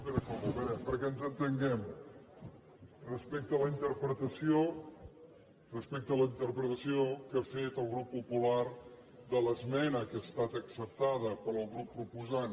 a veure perquè ens entenguem respecte a la interpretació que ha fet el grup popular de l’esmena que ha estat acceptada pel grup proposant